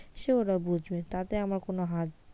সে ওরা বুঝবে তাতে আমার কোনো হাত,